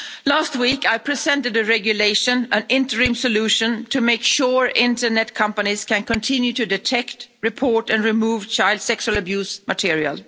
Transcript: Last week, I presented a regulation, an interim solution, to make sure internet companies can continue to detect, report and remove child sexual abuse material.